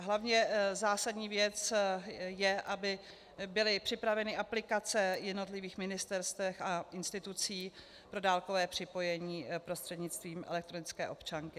A hlavně, zásadní věc je, aby byly připraveny aplikace jednotlivých ministerstev a institucí pro dálkové připojení prostřednictvím elektronické občanky.